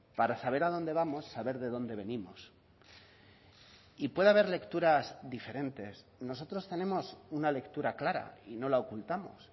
para saber a dónde vamos saber de dónde venimos y puede haber lecturas diferentes nosotros tenemos una lectura clara y no la ocultamos